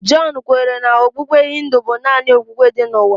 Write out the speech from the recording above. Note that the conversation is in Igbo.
John kwenyere na okpukpe Hindu bụ naanị okpukpe dị n'ụwa.